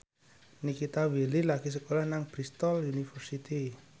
Nikita Willy lagi sekolah nang Bristol university